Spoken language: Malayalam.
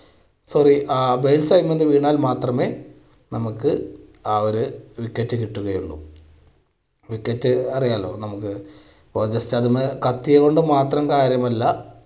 ശരി ആ base segment ൽ നിന്നാൽ മാത്രമേ നമുക്ക് ആ ഒരു wicket കിട്ടുകയുള്ളൂ. wicket അറിയാലോ നമുക്ക് കത്തിയതുകൊണ്ട് മാത്രം കാര്യമില്ല.